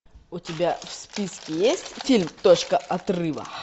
у тебя в списке есть фильм точка отрыва